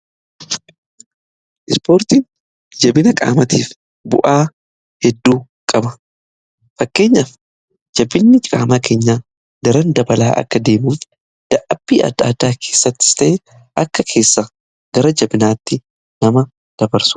Ispoortiin jabina qaamatiif bu'aa hedduu qaba fakkeenyaaf. Jabinni qaamaa keenya daran dabalaa akka deemuuf dadhabbii adda addaa keessai akka keessa gara jabinaatti nama dabarsuuf gargaara.